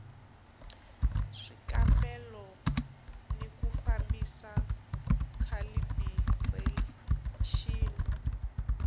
swikambelo ni ku fambisa khalibirexini